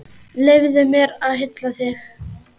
Leyfðu mér að hylla þig.